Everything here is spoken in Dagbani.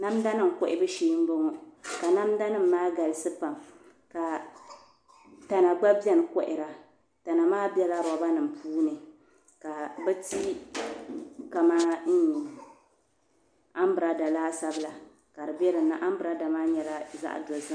Namda nim kohabu shee n bɔŋɔ ka namda nim maa galisi pam ka tana gba biɛni kohara tana maa biɛla roba nim puuni ka bi ti kamani anbirɛla laasabu la ka di bɛ dinni anbirɛla maa nyɛla zaɣ dozim